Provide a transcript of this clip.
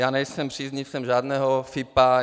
Já nejsem příznivcem žádného FIPO.